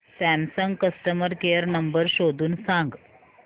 Samsung customer care number शोधून सांग